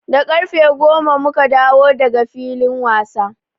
Da ƙarfe goma mu ka dawo da ga filin wasa.